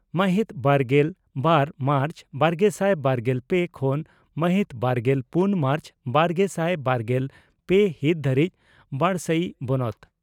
ᱢᱟᱦᱤᱛ ᱵᱟᱨᱜᱮᱞ ᱵᱟᱨ ᱢᱟᱨᱪ ᱵᱟᱨᱜᱮᱥᱟᱭ ᱵᱟᱨᱜᱮᱞ ᱯᱮ ᱠᱷᱚᱱ ᱢᱟᱦᱤᱛ ᱵᱟᱨᱜᱮᱞ ᱯᱩᱱ ᱢᱟᱨᱪ ᱵᱟᱨᱜᱮᱥᱟᱭ ᱵᱟᱨᱜᱮᱞ ᱯᱮ ᱦᱤᱛ ᱫᱷᱟᱹᱨᱤᱡ ᱵᱚᱰᱥᱟᱹᱭᱤ ᱵᱚᱱᱚᱛ